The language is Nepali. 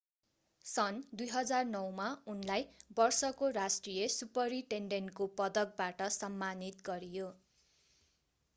सन् 2009 मा उनलाई वर्षको राष्ट्रिय सुपरिटेन्डेन्टको पदकबाट सम्मानित गरियो